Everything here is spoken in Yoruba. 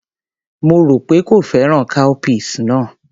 Mo rò pé kò fẹ́ràn cowpeas náà.